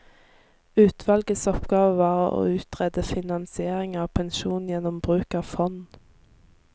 Utvalgets oppgave var å utrede finansiering av pensjon gjennom bruk av fond.